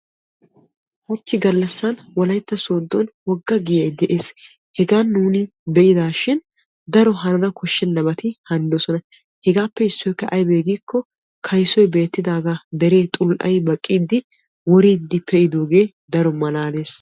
Hachchi gallasan wolaytta sooddon wogga giyay de'ees. Hegaa nuuni biidaashin daro hanana koshshennabati hanidosona hegaappe issoykka aybee giikko kaysoy beettidaagaa deree xul"ayi baqqiiddi woriiddi pee'idoogee daro malaalees.